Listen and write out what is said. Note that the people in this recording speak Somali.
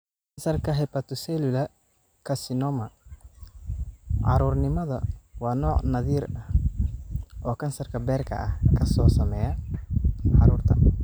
Kansarka hepatocellular carcinoma, carruurnimada waa nooc naadir ah oo kansarka beerka ah kaasoo saameeya carruurta.